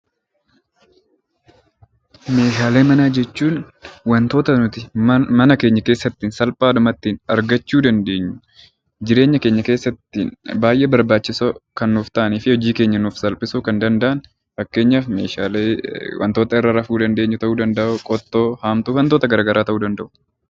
Meeshaalee manaa jechuun wantoota nuti mana keenya keessatti salphaadhumatti argachuu dandeenyu, jireenya keenya keessatti baay'ee barbaachisoo kan nuuf ta’anii fi hojii keenya kan nuuf salphisuu danda’an fakkeenyaaf meeshaalee wantoota irra rafuu dandeenyu, qottoo, haamtuu fi wantoota gara garaa ta'uu ni danda’u.